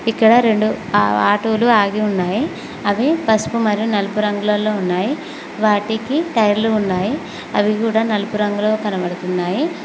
ఇక్కడ రెండు ఆ ఆటోలు ఆగి ఉన్నాయి అవి పసుపు మరియు నలుపు రంగులో ఉన్నాయి వాటికి టైర్లు ఉన్నాయి అవి కూడా నలుపు రంగులో కనబడుతున్నాయి.